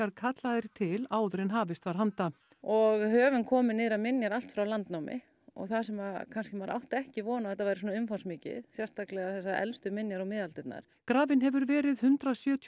kallaðir til áður en hafist var handa og höfum komið niður á minjar allt frá landnámi og það sem kannski maður átti ekki von á að þetta væri svona umfangsmikið sérstaklega þessar elstu minjar og miðaldirnar grafinn hefur verið hundrað sjötíu og